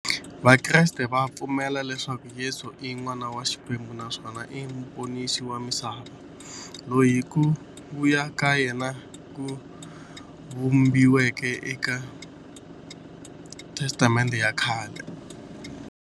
Vakreste va pfumela leswaku Yesu i n'wana wa Xikwembu naswona i muponisi wa misava, loyi ku vuya ka yena ku vhumbiweke e ka Testamente ya khale.